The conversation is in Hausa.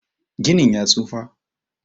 Ginin ya tsufa.